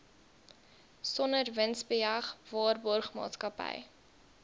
sonder winsbejag waarborgmaatskappy